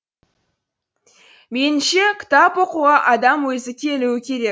меніңше кітап оқуға адам өзі келу керек